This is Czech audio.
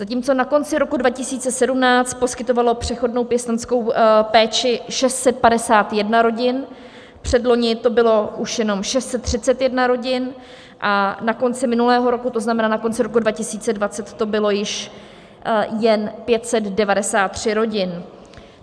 Zatímco na konci roku 2017 poskytovalo přechodnou pěstounskou péči 651 rodin, předloni to bylo už jenom 631 rodin a na konci minulého roku, to znamená na konci roku 2020, to bylo již jen 593 rodin.